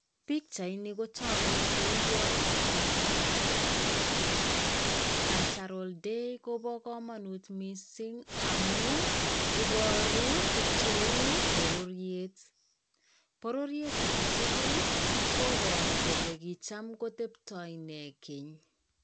Pichaini kotogu kou yo bo Cultural day. Cultural day ko bo komonut missing amu iboru tuguk cheu bororiet. Bororiet age tugul koboru kole kicham koteptoi nee keny.